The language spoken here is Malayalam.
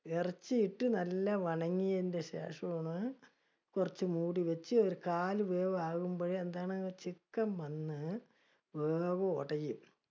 ഇറച്ചി ഇട്ട് നല്ല വണങ്ങിയതിന്റെ ശേഷമാണ്, കുറച്ച് മൂടിവെച്ച് കുറച്ച് കാൽ വേവ് അപ്പോഴേ എന്താണ് chicken വന്ന്, വേവ് ഒടയും.